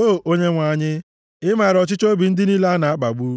O Onyenwe anyị, ị maara ọchịchọ obi ndị niile a na-akpagbu;